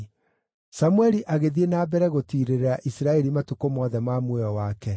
Samũeli agĩthiĩ na mbere gũtiirĩrĩra Isiraeli matukũ mothe ma muoyo wake.